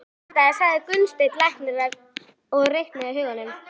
Í gamla daga, sagði Gunnsteinn læknir og reiknaði í huganum.